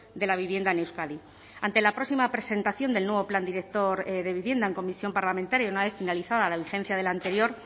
de la vivienda en euskadi ante la próxima presentación del nuevo plan director de vivienda en comisión parlamentaria una vez finalizada la vigencia del anterior